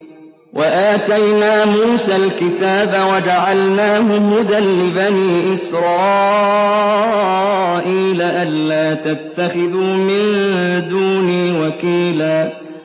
وَآتَيْنَا مُوسَى الْكِتَابَ وَجَعَلْنَاهُ هُدًى لِّبَنِي إِسْرَائِيلَ أَلَّا تَتَّخِذُوا مِن دُونِي وَكِيلًا